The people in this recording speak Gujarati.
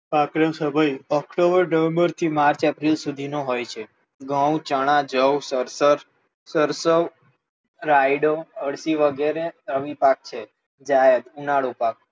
પાક નો સમય ઓકટોબર, નવેમ્બર થી માર્ચ, એપ્રિલ સુધી નો હોય છે, ઘઉ, ચણા, જવ, સરસવ, રાઈડો, અળસી વગેરે રવિ પાક છે. જાયદ ઉનાળુ પાક,